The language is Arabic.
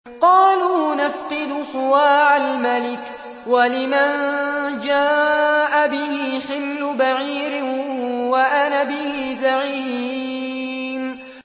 قَالُوا نَفْقِدُ صُوَاعَ الْمَلِكِ وَلِمَن جَاءَ بِهِ حِمْلُ بَعِيرٍ وَأَنَا بِهِ زَعِيمٌ